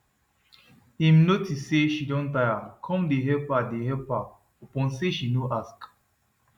him notice say she don tire come dey help her dey help her upon say she no ask